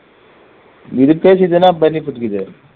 இது